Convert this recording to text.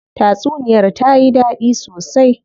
Tatsuniyar tayi dadi sosai.